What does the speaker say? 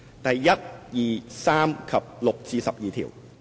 第1、2、3及6至12條。